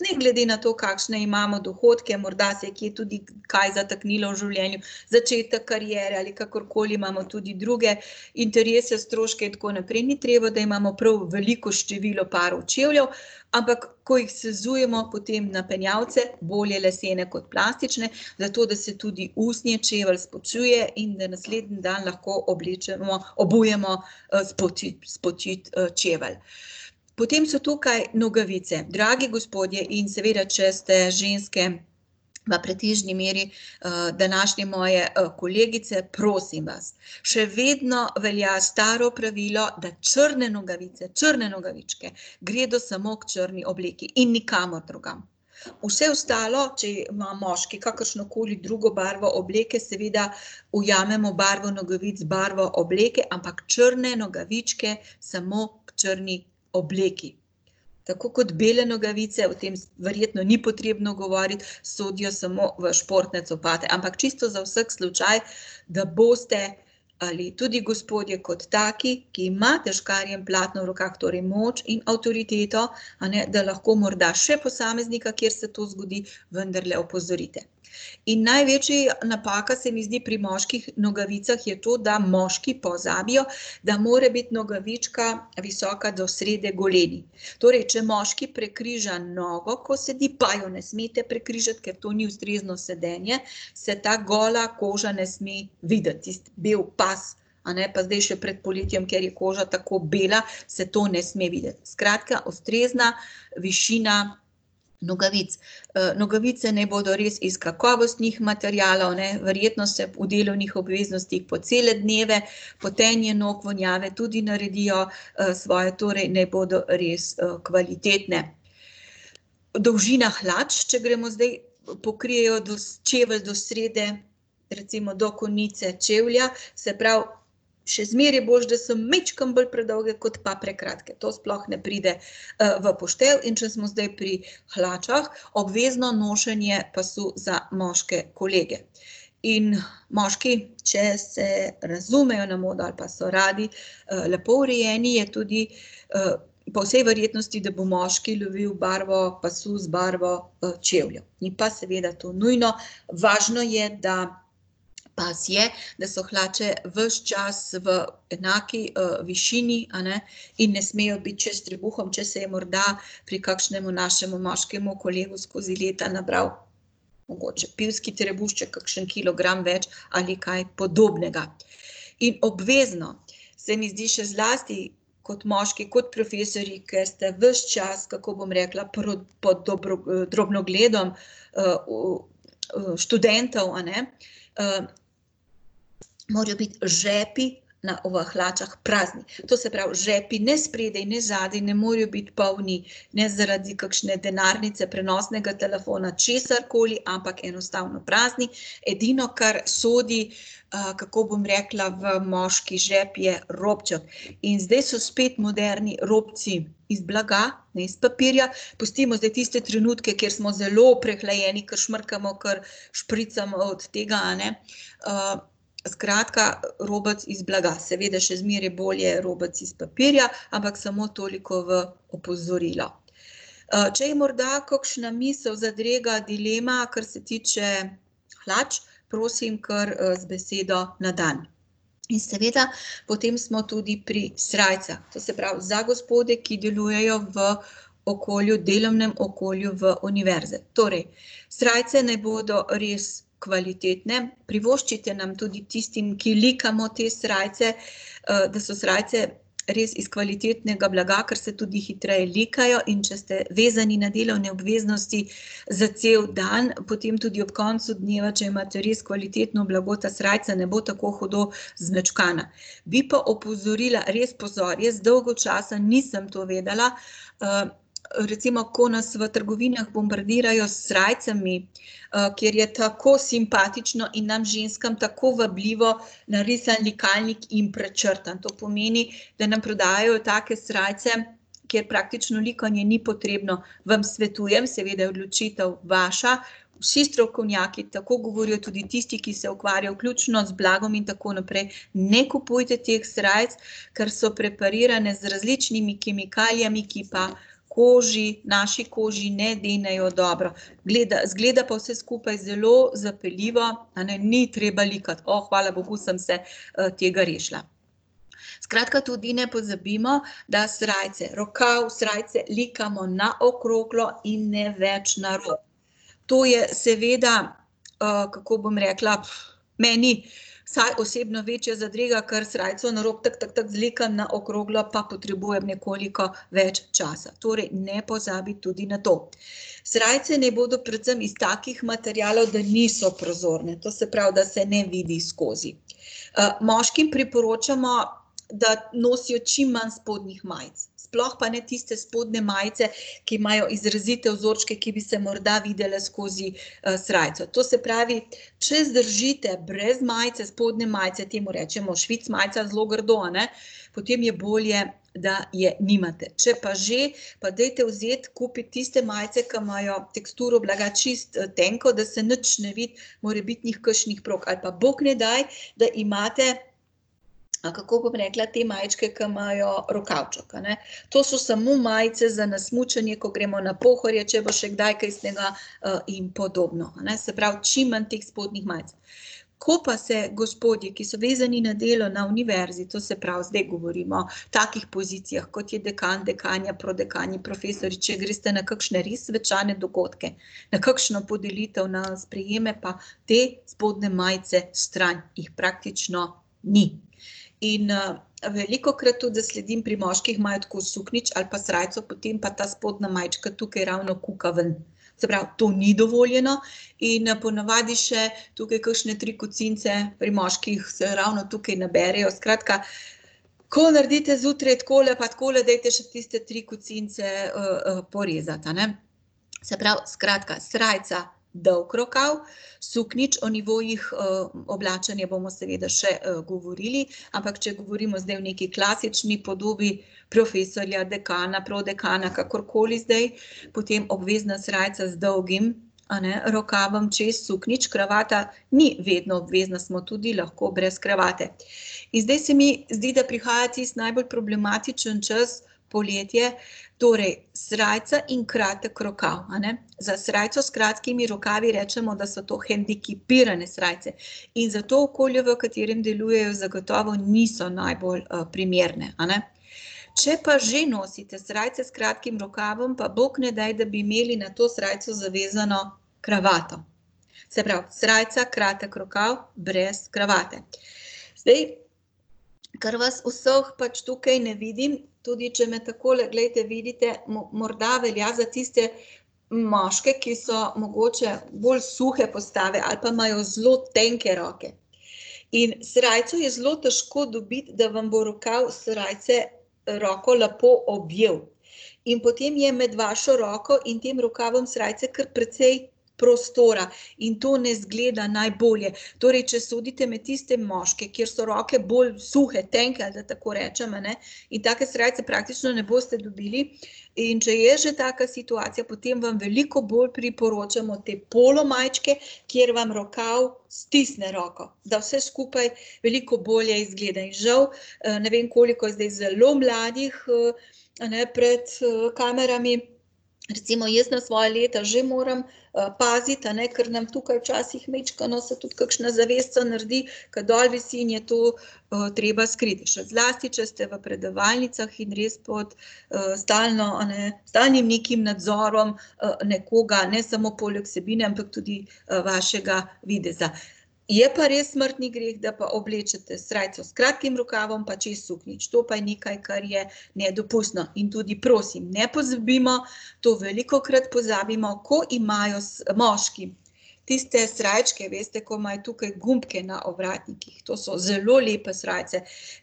ne glede na to, kakšne imamo dohodke, morda se je kje tudi kaj zataknilo v življenju. Začetek kariere ali kakorkoli, imamo tudi druge interese, stroške in tako naprej. Ni treba, da imamo prav veliko število parov čevljev, ampak ko jih sezujmo, potem napenjalce, bolje lesene kot plastične, zato da se tudi usnje, čevelj spočije in da naslednji dan lahko oblečemo, obujemo, spočit čevelj. Potem so tukaj nogavice. Dragi gospodje, in seveda če ste ženske pretežni meri, današnje moje, kolegice, prosim vas. Še vedno velja staro pravilo, da črne nogavice, črne nogavičke gredo samo k črni obleki in nikamor drugam. Vse ostalo, če ima moški kakršnokoli drugo barvo obleke, seveda ujamemo barvo nogavic, barvo obleke, ampak črne nogavičke samo k črni obleki. Tako kot bele nogavice, o tem verjetno ni potrebno govoriti, sodijo samo v športne copate. Ampak čisto za vsak slučaj, da boste ali tudi gospodje kot taki, ki imate škarje in platno v rokah, torej moč in avtoriteto, a ne, da lahko morda še posameznika, kjer se to zgodi, vendarle opozorite. In največja napaka se mi zdi pri moških nogavicah je to, da moški pozabijo, da mora biti nogavička visoka do srede goleni. Torej če moški prekriža nogo, ko sedi, pa jo ne smete prekrižati, ker to ni ustrezno sedenje, se ta gola koža ne sme videti, tisti beli pas, a ne, pa zdaj še pred poletjem, ker je koža tako bela, se to ne sme videti. Skratka, ustrezna višina nogavic. nogavice naj bodo res iz kakovostnih materialov, a ne, verjetno se v delovnih obveznostih po cele dneve, potenje nog, vonjave tudi naredijo, svoje. Torej naj bodo res, kvalitetne. Dolžina hlač, če gremo zdaj, pokrijejo do čevelj do srede, recimo do konice čevlja, se pravi, še zmeraj je boljše, da so majčkeno bolj predolge kot pa prekratke. To sploh ne pride, v poštev. In če smo zdaj pri hlačah, obvezno nošenje pasu za moške kolege. In moški, če se razumejo na modo ali pa so radi, lepo urejeni, je tudi, po vsej verjetnosti, da bo moški lovili barvo pasu z barvo, čevljev. Ni pa seveda to nujno, važno je, da pas je, da so hlače ves čas v, enaki višini, a ne, in ne smejo biti čez trebuh, če se je morda pri kakšnemu našemu moškemu kolegu skozi leta nabral mogoče pivski trebušček, kakšen kilogram več ali kaj podobnega. In obvezno se mi zdi še zlasti kot moški, kot profesorji, ker ste ves čas, kako bom rekla, pod drobnogledom, študentov, a ne, morajo biti žepi na, v hlačah prazni. To se pravi žepi, ne spredaj ne zadaj, ne morejo biti polni ne zaradi kakšne denarnice, prenosnega telefona, česarkoli, ampak enostavno prazni. Edino, kar sodi, kako bom rekla, v moški žep, je robček. In zdaj so spet moderni robci iz blaga, ne iz papirja. Pustimo zdaj tiste trenutke, kjer smo zelo prehlajeni, ke smrkamo, kar špricamo od tega, a ne. skratka, robec iz blaga. Seveda še zmeraj bolje robec iz papirja, ampak samo toliko v opozorilo. če je morda kakšna misel, zadrega, dilema, kar se tiče hlač, prosim kar, z besedo na dan. In seveda potem smo tudi pri srajcah. To se pravi, za gospode, ki delujejo v okolju, delovnem okolju v univerzi. Torej, srajce naj bodo res kvalitetne, privoščite nam tudi tistim, ki likamo te srajce, da so srajce res iz kvalitetnega blaga, ker se tudi hitreje likajo. In če ste vezani na delovne obveznosti za cel dan, potem tudi ob koncu dneva, če imate res kvalitetno blago, ta srajca ne bo tako hudo zmečkana. Bi pa opozorila, res pozor, jaz dolgo časa nisem to vedela, recimo ko nas v trgovinah bombardirajo s srajcami, kjer je tako simpatično in nam ženskam tako vabljivo, narisan likalnik in prečrtan, to pomeni, da nam prodajajo take srajce, kjer praktično likanje ni potrebno. Vam svetujem, seveda je odločitev vaša, vsi strokovnjaki, tako govorijo tudi tisti, ki se ukvarjajo vključno z blagom in tako naprej, ne kupujte teh srajc, ker so preparirane z različnimi kemikalijami, ki pa koži, naši koži ne denejo dobro. izgleda pa vse skupaj zelo zapeljivo, a ne, ni treba likati, hvala bogu, sem se, tega rešila. Skratka, tudi ne pozabimo, da srajce, rokav srajce, likamo na okroglo in ne več na rob. To je seveda, kako bom rekla, meni vsaj osebno večja zadrega, ker srajco na rob, zlikam, na okroglo pa potrebujem nekoliko več časa. Torej ne pozabiti tudi na to. Srajce naj bodo predvsem iz takih materialov, da niso prozorne, to se pravi, da se ne vidi skozi. moškim priporočamo, da nosijo čim manj spodnjih majic, sploh pa ne tiste spodnje majice, ki imajo izrazite vzorčke, ki bi se morda videle skozi, srajco. To se pravi, če zdržite brez majice, spodnje majice, temu rečemo švic majica zelo grdo, a ne, potem je bolje, da je nimate. Če pa že, pa dajte vzeti, kupiti tiste majice, ke imajo teksturo blaga čisto, tenko, da se nič ne vidi morebitnih kakšnih prog. Ali pa bog ne daj, da imate, kako bom rekla, te majčke, ki imajo rokavček, a ne. To so samo majice za na smučanje, ko gremo na Pohorje, če bo še kdaj kaj snega, in podobno, a ne. Se pravi, čim manj teh spodnjih majic. Ko pa se gospodi, ki so vezani na delo na univerzi, to se pravi zdaj govorimo takih pozicijah, kot je dekan, dekanja, prodekani, profesorji, če greste na kakšne res svečane dogodke, na kakšno podelitev, na sprejeme, pa te spodnje majice stran, jih praktično ni. In, velikokrat tudi zasledim pri moških, imajo tako suknjič ali pa srajco, potem pa ta spodnja majčka tukaj ravno kuka ven. Se pravi, to ni dovoljeno in, ponavadi še tukaj kakšne tri kocinice pri moških se ravno tukaj naberejo. Skratka, ko naredite zjutraj takole pa takole, dajte še tiste tri kocinice, porezati, a ne. Se pravi, skratka, srajca dolg rokav, suknjič, o nivojih, oblačenja bomo seveda še, govorili, ampak če govorimo zdaj o neki klasični podobi profesorja, dekana, prodekana, kakorkoli zdaj, potem obvezna srajca z dolgim, a ne, rokavom, čez suknjič, kravata ni vedno obvezna, smo tudi lahko brez kravate. In zdaj se mi zdi, da prihaja tisti najbolj problematičen čas, poletje, torej, srajca in kratek rokav, a ne. Za srajco s kratkimi rokavi recimo, da so to hendikepirane srajce. In za to okolje, v katerem delujejo, zagotovo niso najbolj, primerne, a ne. Če pa že nosite srajce s kratkim rokavom, pa bog ne daj, da bi imeli na to srajco zavezano kravato. Se pravi, srajca kratek rokav, brez kravate. Zdaj, ker vas vseh pač tukaj ne vidim, tudi če me takole, glejte, vidite, morda velja za tiste moške, ki so mogoče bolj suhe postave ali pa imajo zelo tenke roke, in srajco je zelo težko dobiti, da vam bo rokav srajce, roko lepo objel. In potem je med vašo roko in tem rokavom srajce kar precej prostora. In to ne izgleda najbolje. Torej če sodite med tiste moške, kjer so roke bolj suhe, tenke, da tako rečem, a ne, in take srajce praktično ne boste dobili. In če je že taka situacija, potem vam veliko bolj priporočamo te polo majčke, kjer vam rokav stisne roko, da vse skupaj veliko bolje izgleda. In žal, ne vem, koliko je zdaj zelo mladih, a ne, pred, kamerami, recimo jaz na svoja leta že moram, paziti, a ne, ker nam tukaj včasih majčkeno se tudi kakšna zavesica naredi, ke dol visi, in je to, treba skriti, še zlasti, če ste v predavalnicah in res pod, stalno, a ne, stalnim nekim nadzorom, nekoga, a ne, ne samo poleg vsebine, ampak tudi, vašega videza. Je pa res smrtni greh, da pa oblečete srajco s kratkim rokavom pa čez suknjič. To pa je nekaj, kar je nedopustno. In tudi prosim, ne pozabimo, to velikokrat pozabimo, ko imajo moški tiste srajčke, veste, ko imajo tukaj gumbke na ovratnikih, to so zelo lepe srajce,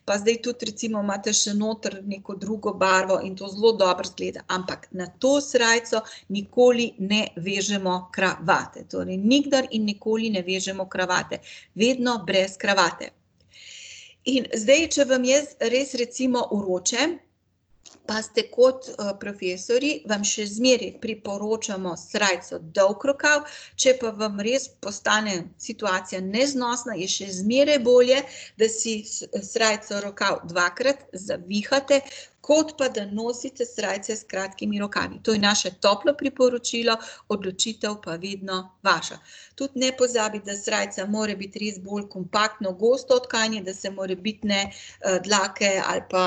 pa zdaj tudi recimo imate še noter neko drugo barvo in to zelo dobro izgleda, ampak na to srajco nikoli ne vežemo kravate. Torej nikdar in nikoli ne vežemo kravate. Vedno brez kravate. In zdaj, če vam res recimo vroče, pa ste kot, profesorji, vam še zmeraj priporočamo srajco dolgo rokav, če pa vam res postane situacija neznosna, je še zmeraj bolje, da si srajco, rokav dvakrat zavihate, kot pa da nosite srajce s kratkimi rokavi. To je naše toplo priporočilo, odločitev pa vedno vaša. Tudi ne pozabiti, da srajca mora biti res bolj kompaktno, gosto tkanje, da se morebitne, dlake ali pa,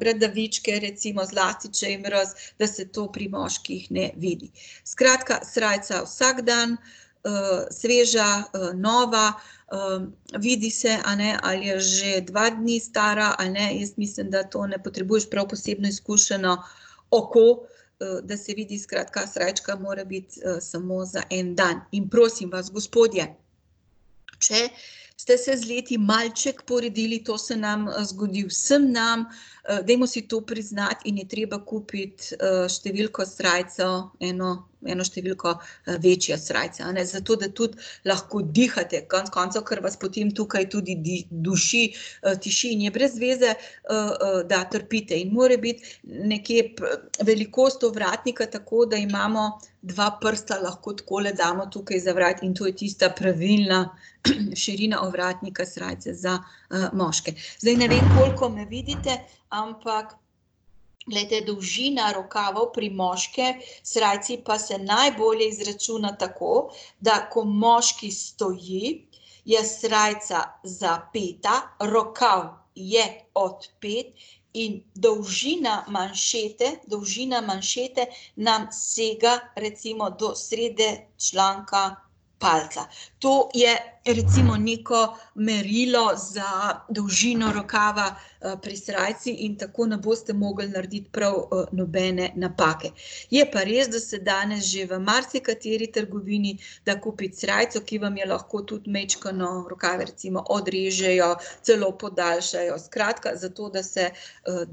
bradavičke recimo, zlasti če je mraz, da se to pri moških ne vidi. Skratka, srajca vsak dan, sveža, nova, vidi se, a ne, ali je že dva dni stara ali ne, jaz mislim, da to ne potrebuješ prav posebno izkušeno oko, da se vidi. Skratka, srajčka mora biti, samo za en dan. In prosim vas, gospodje, če ste se z leti malček poredili, to se nam, zgodi vsem nam, dajmo si to priznati, in je treba kupiti, številko srajco eno, eno številko, večjo srajco, a ne, zato da tudi lahko dihate konec koncev, ker vas potem tukaj tudi duši, tišči in je brez veze, da trpite. In mora biti nekje velikost ovratnika tako, da imamo dva prsta lahko takole damo tukaj za vrat, in to je tista pravilna, širina ovratnika srajce za, moške. Zdaj ne vem, koliko me vidite, ampak glejte, dolžina rokavov pri moški srajci pa se najbolje izračuna tako, da ko moški stoji, je srajca zapeta, rokav je odpeti in dolžina manšete, dolžina manšete nam sega recimo do srede členka palica. To je recimo neko merilo za dolžino rokava, pri srajci in tako ne boste mogli narediti prav, nobene napake. Je pa res, da se danes že v marsikateri trgovini da kupiti srajco, ki vam je lahko tudi majčkeno v rokave recimo odrežejo, celo podaljšajo. Skratka, zato, da se,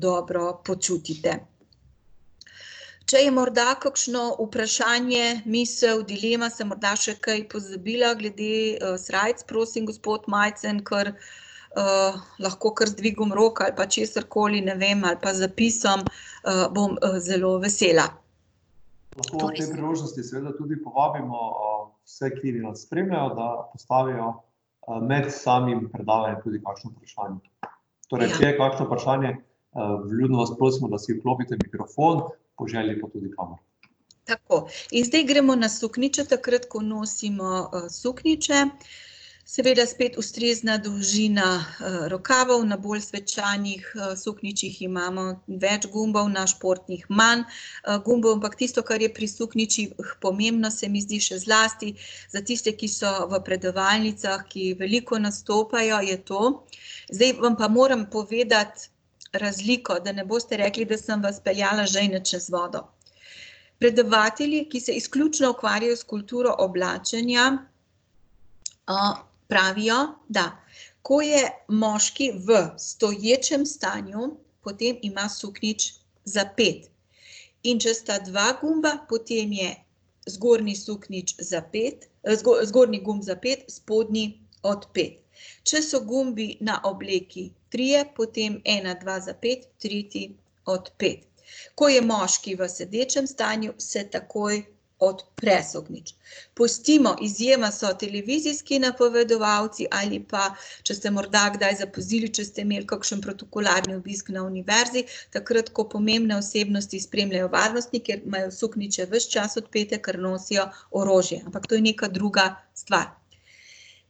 dobro počutite. Če je morda kakšno vprašanje, misel, dilema, sem morda še kaj pozabila glede, srajc, prosim, gospod Majcen, kar, lahko kar z dvigom rok ali pa česarkoli, ne vem, ali pa zapisom, bom, zelo vesela. Tako. In zdaj gremo na suknjiče, takrat ko nosimo, suknjiče. Seveda spet ustrezna dolžina, rokavov, na bolj svečanih, suknjičih imamo več gumbov, na športnih manj, gumbov. Ampak tisto, kar je pri suknjičih pomembno, se mi zdi, še zlasti za tiste, ki so v predavalnicah, ki veliko nastopajo, je to, zdaj vam pa moram povedati razliko, da ne boste rekli, da sem vas peljala žejne čez vodo. Predavatelji, ki se izključno ukvarjajo s kulturo oblačenja, pravijo, da ko je moški v stoječem stanju, potem ima suknjič zapet. In če sta dva gumba, potem je zgornji suknjič zapet, zgornji gumb zapet, spodnji odpet. Če so gumbi na obleki trije, potem ena, dva zapeti, tretji odpet. Ko je moški v sedečem stanju, se takoj odpre suknjič. Pustimo, izjema so televizijski napovedovalci, ali pa če ste morda kdaj zapazili, če ste imeli kakšen protokolarni obisk na univerzi, takrat ko pomembne osebnosti spremljajo varnostniki, imajo suknjiče ves čas odpete, ker nosijo orožje. Ampak to je neka druga stvar.